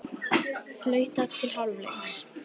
Flautað til hálfleiks